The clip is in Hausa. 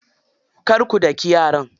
Kar ku daki yara.